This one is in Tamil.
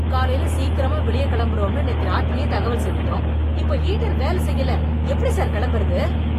காலைல சீக்கிரமா வெளிய கெளம்பறோம்னு நேத்து ராத்திரியே தகவல் சொல்லிட்டோம்... இப்போ ஹீட்டர் வேல செய்யல... எப்படி சார் கெளம்பறது?